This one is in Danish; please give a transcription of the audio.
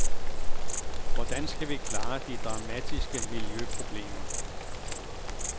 Hvordan skal vi klare de dramatiske miljøproblemer?